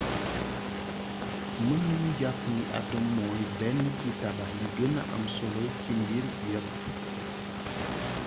mën nañu jàpp ni atom mooy benn ci tabax yi gëna am solo ci mbir yépp